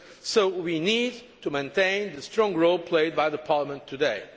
So we need to maintain the strong role played by Parliament